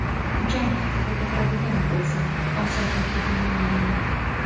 Jang haqida gapiradigan bo‘lsam, oson o‘tdi deya olmayman.